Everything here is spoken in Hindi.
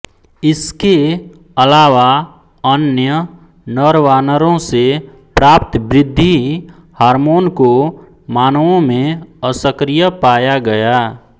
इसके अलावा अन्य नरवानरों से प्राप्त वृद्धि हार्मोन को मानवों में असक्रिय पाया गया